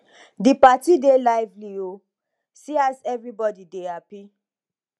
di party dey lively o see as everybodi dey happy